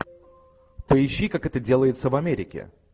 поищи как это делается в америке